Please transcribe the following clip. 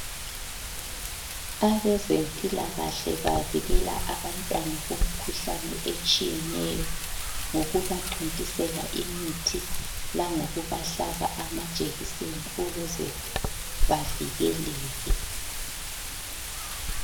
Abezempilakahle, bavikela abantwana kumkhuhlane etshiyeneyo, ngokubathontisela imithi. Langokubahlaba amajekiseni ukuze bavikeleke.